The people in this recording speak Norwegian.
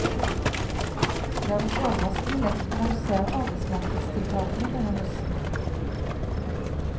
Det har gått overraskende lett å redusere arbeidsmarkedstiltakene denne høsten.